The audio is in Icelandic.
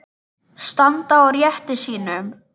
Standa á rétti sínum?